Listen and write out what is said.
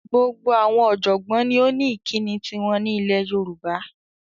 Gbogbo awon ojogbon ni o ni ikini tiwon ni ile Yoruba